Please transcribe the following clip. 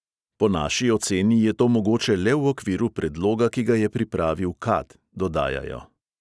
"Po naši oceni je to mogoče le v okviru predloga, ki ga je pripravil kad," dodajajo.